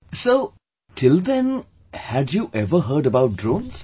So till then had you ever heard about drones